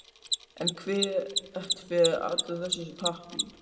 En hvert fer allur þessi pappír?